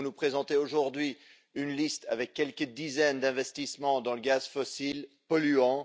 Vous nous présentez aujourd'hui une liste avec quelques dizaines d'investissements dans le gaz fossile polluant.